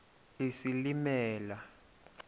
isilimela